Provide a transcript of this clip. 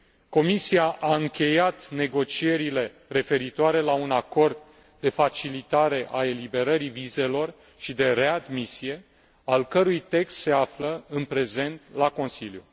Comisia a încheiat negocierile referitoare la un acord de facilitare a eliberării vizelor și de readmisie, al cărui text se află în prezent la Consiliu.